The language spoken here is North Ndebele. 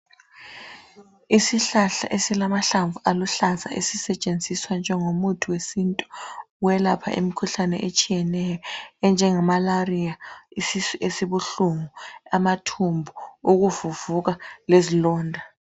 Isihlahla esilamahlamvu aluhlaza esisetshenziswa njengo muthi wesintu welapha imikhuhlane etshiyeneyo enjenge malariya isisu esibuhlungu amathumbu ukuvuvuka lezilonda